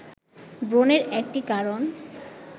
ব্রণের একটি কারণ